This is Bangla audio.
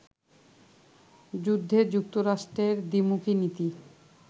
যুদ্ধে যুক্তরাষ্ট্রের দ্বিমুখী নীতি